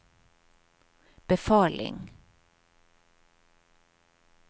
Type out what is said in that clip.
befaling